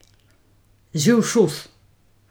Živ šus.